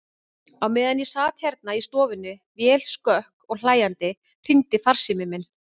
Á meðan ég sat hérna í stofunni, vel skökk og hlæjandi, hringdi farsíminn minn.